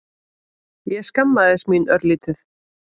Ég skammaðist mín örlítið.